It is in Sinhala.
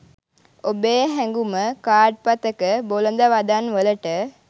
ඔබේ හැඟුම කාඩ් පතක බොළඳ වදන් වලට,